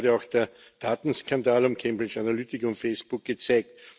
Das hat gerade auch der Datenskandal um Cambridge Analytica und Facebook gezeigt.